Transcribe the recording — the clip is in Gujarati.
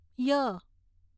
ય